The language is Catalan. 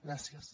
gràcies